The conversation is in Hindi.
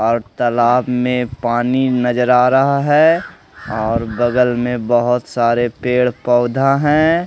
और तालाब में पानी नजर आ रहा है और बगल में बहोत सारे पेड़ पौधा हैं।